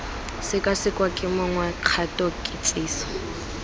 sekasekwa ke mongwe kgato kitsiso